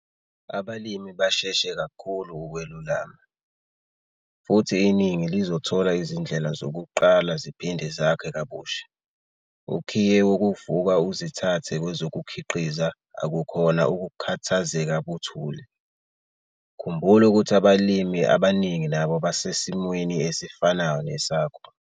Abalimi bashesha kakhulu ukwelulama, futhi iningi lizothola izindlela zokuqala ziphinde zakhe kabusha. Ukhiye wokuvuka uzithathe kwezokukhiqiza akukhona ukukhathazeka buthule. Khumbula ukuthi abalimi abaningi nabo basesimweni esifanayo nesakho.